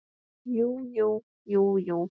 Jú jú, jú jú.